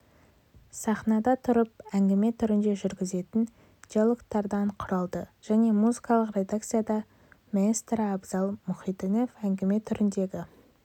сахнада тұрып әңгіме түрінде жүргізетін диалогтардан құралды жаңа музыкалық редакцияда маэстро абзал мұхитдинов әңгіме түріндегі